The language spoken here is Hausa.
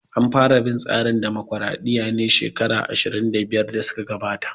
An fara bin tsarin dimokraɗiya ne shekaru 25 da suka gabata